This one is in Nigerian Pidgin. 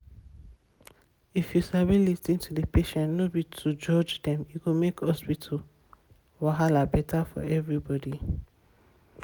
if you sabi lis ten to di patients no be to judge dem e go make hospital wahala better for everybody.